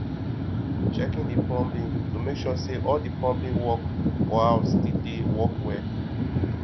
checking the plumbing to make sure say all the plumbing work for house still dey work well